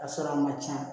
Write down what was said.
A sɔrɔ a man ca